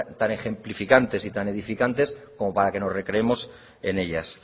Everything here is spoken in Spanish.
tan ejemplificantes y tan edificantes como para que nos recreemos en ellas